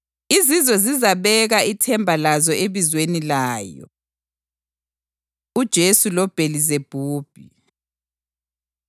Izizwe zizabeka ithemba lazo ebizweni layo.” + 12.21 U-Isaya 42.1-4 UJesu LoBhelizebhubhi